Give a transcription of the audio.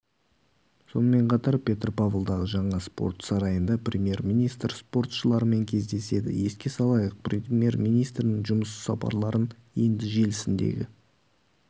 сонымен қатар петропавлдағы жаңа спорт сарайында премьер-министр спортшылармен кездеседі еске салайық премьер-министрінің жұмыс сапарларын енді желісіндегі